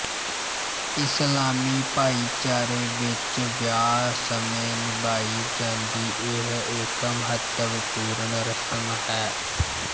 ਇਸਲਾਮੀ ਭਾਈਚਾਰੇ ਵਿੱਚ ਵਿਆਹ ਸਮੇਂ ਨਿਭਾਈ ਜਾਂਦੀ ਇਹ ਇੱਕ ਮਹੱਤਵਪੂਰਨ ਰਸਮ ਹੈ